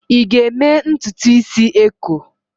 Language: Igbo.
ị ga-eme ntutu isi eko?